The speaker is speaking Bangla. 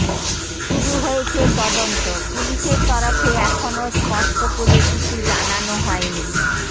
শুরু হয়েছে তদন্ত পুলিশের তরফে এখনও স্পষ্ট করে কিছু জানানো হয়নি